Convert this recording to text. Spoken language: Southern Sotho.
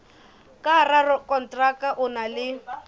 ka rakonteraka o na le